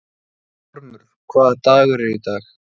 Ormur, hvaða dagur er í dag?